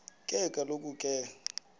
ke kaloku ke